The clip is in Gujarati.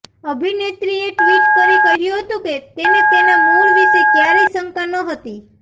અભિનેત્રીએ ટ્વીટ કરી કહ્યું હતું કેૢ તેને તેના મૂળ વિશે ક્યારેય શંકા નહોતી